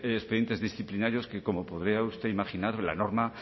expedientes disciplinarios que como podría usted imaginar la norma